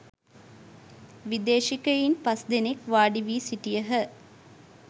විදේශිකයින් පස් දෙනෙක් වාඩි වී සිටියහ.